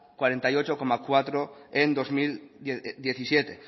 cuarenta y ocho coma cuatro por ciento en bi mila hamazazpi